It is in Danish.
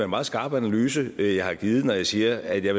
meget skarp analyse jeg har givet når jeg siger at jeg